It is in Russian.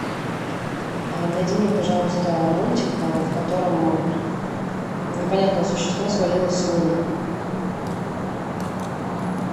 найди мне пожалуйста мультик в котором непонятное существо свалилось с луны